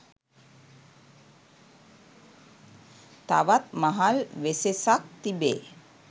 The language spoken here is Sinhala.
තවත් මහල් වෙසෙසක් තිබේ.